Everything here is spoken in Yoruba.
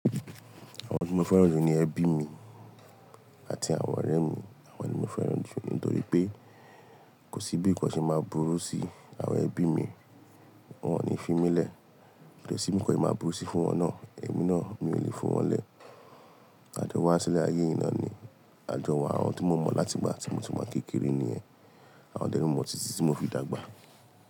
Àwọn tí mo fẹ́ràn jù ni ẹbí mi àti àwọn ọ̀rẹ́ mi. Àwọn ni mo fẹ́ràn jù nítorí pé kò sí bí nǹkan ṣe máa burú sí àwọn ẹbí mi, wọ́n ò ní fi mí lẹ̀. Kodẹ si bi nǹkan ṣe máa burú si fún wọn náà, èmi náà miò ni fi wọn lẹ̀. Àjọ wa sílẹ̀ ayé yìí náà ni àjọ wa. Àwọn tí mo mọ̀ láti ìgbà tí mo ti wá kékeré nìyẹn. Àwọn dẹ́ momọ tìtì tí mo fi dàgbà.